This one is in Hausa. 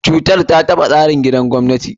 Cutar ta taɓa tsarin kuɗin gwamnati.